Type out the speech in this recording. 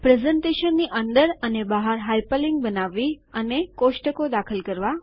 પ્રસ્તુતીકરણની અંદર અને બહાર હાઇપરલિન્ક બનાવવી અને કોષ્ટકો દાખલ કરવા